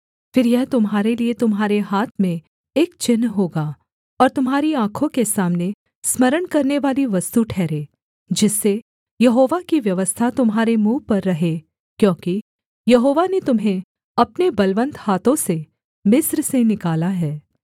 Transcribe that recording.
फिर यह तुम्हारे लिये तुम्हारे हाथ में एक चिन्ह होगा और तुम्हारी आँखों के सामने स्मरण करानेवाली वस्तु ठहरे जिससे यहोवा की व्यवस्था तुम्हारे मुँह पर रहे क्योंकि यहोवा ने तुम्हें अपने बलवन्त हाथों से मिस्र से निकाला है